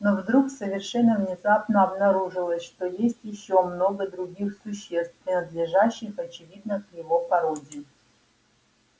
но вдруг совершенно внезапно обнаружилось что есть ещё много других существ принадлежащих очевидно к его породе